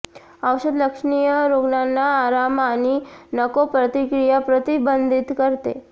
औषध लक्षणीय रुग्णांना आराम आणि नको प्रतिक्रिया प्रतिबंधित करते